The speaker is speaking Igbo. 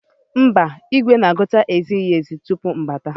Mba, igwe na-agụta ezighi ezi tupu m abata.